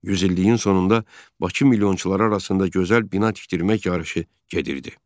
Yüz illiyin sonunda Bakı milyonçuları arasında gözəl bina tikdirmək yarışı gedirdi.